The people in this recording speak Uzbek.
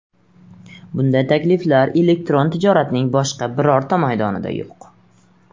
Bunday takliflar elektron tijoratning boshqa birorta maydonida yo‘q!